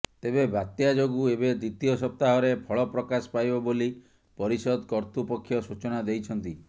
ତେବେ ବାତ୍ୟା ଯୋଗୁଁ ଏବେ ଦ୍ବିତୀୟ ସପ୍ତାହରେ ଫଳ ପ୍ରକାଶ ପାଇବ ବୋଲି ପରିଷଦ କର୍ତୃପକ୍ଷ ସୂଚନା ଦେଇଛନ୍ତି